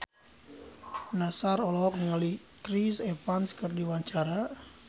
Nassar olohok ningali Chris Evans keur diwawancara